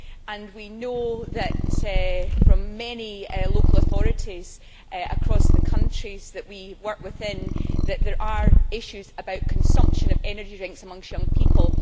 and we know from many local authorities across the countries that we work within that there are issues about consumption of energy drinks amongst young people.